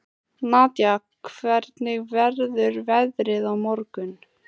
Nadia, hvernig verður veðrið á morgun?